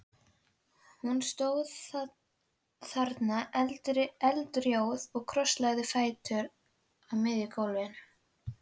Hún stóð þarna eldrjóð og krosslagði fæturna á miðju gólfi.